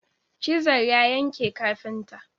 Chisel ya yanke kafinta.